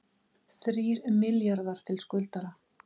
Þrír milljarðar til skuldara